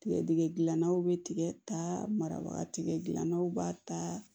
Tigɛdɛgɛnaw bɛ tigɛ ta marabaga ganaw b'a ta